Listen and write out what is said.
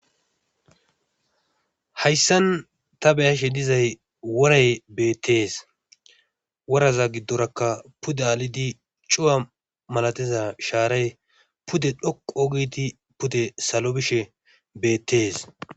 hayssan ta beyashe dizay woray beettees woraza giddorakka pudda alidi cuwa malatiza shaaray pude dhoqu ogiti pudde salo bishe beettees